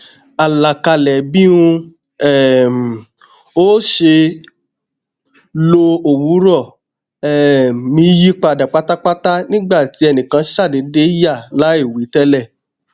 alakalẹ bí n um óò ṣe lo òwúrọ um mi yipada patapata nigba ti ẹnikan ṣadeede ya laiwi tẹlẹ